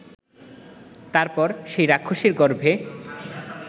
তার পর সেই রাক্ষসীর গর্ভে